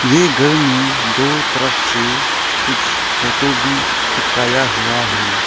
ये घर में दो तरफ से कुछ फोटो भी चिपकाए हुआ है।